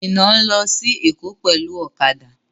Mina n lọ sí Èkó pẹlu ọ̀kadà.